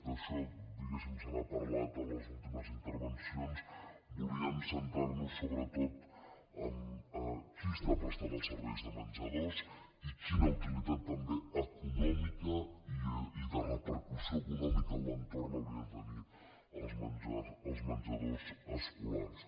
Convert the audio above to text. d’això diguéssim se n’ha parlat en les últimes intervencions volíem centrar·nos sobretot en qui està prestant els serveis de menjadors i quina uti·litat també econòmica i de repercussió econòmica en l’entorn haurien de tenir els menjadors escolars